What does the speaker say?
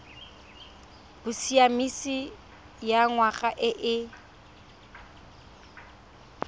bosiamisi ya ngwana e e